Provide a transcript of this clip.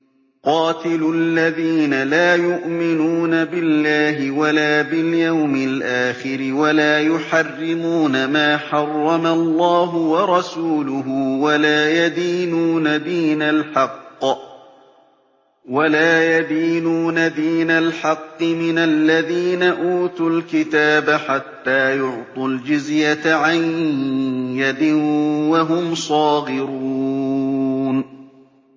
قَاتِلُوا الَّذِينَ لَا يُؤْمِنُونَ بِاللَّهِ وَلَا بِالْيَوْمِ الْآخِرِ وَلَا يُحَرِّمُونَ مَا حَرَّمَ اللَّهُ وَرَسُولُهُ وَلَا يَدِينُونَ دِينَ الْحَقِّ مِنَ الَّذِينَ أُوتُوا الْكِتَابَ حَتَّىٰ يُعْطُوا الْجِزْيَةَ عَن يَدٍ وَهُمْ صَاغِرُونَ